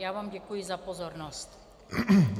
Já vám děkuji za pozornost.